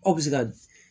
Aw bɛ se ka